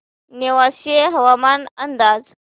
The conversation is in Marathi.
नेवासे हवामान अंदाज